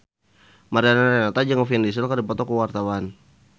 Mariana Renata jeung Vin Diesel keur dipoto ku wartawan